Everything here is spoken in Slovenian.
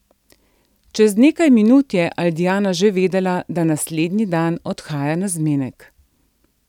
Čez nekaj minut je Aldijana že vedela, da naslednji dan odhaja na zmenek.